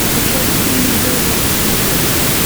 посоветуй мне бел рос на смотрешке